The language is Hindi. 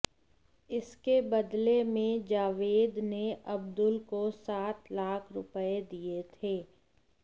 इसके बदले में जावेद ने अब्दुल को सात लाख रुपये दिये थे